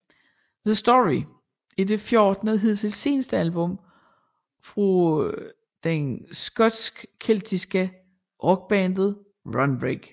The Story er det fjortende og hidtil seneste album fra den skotske keltiske rockband Runrig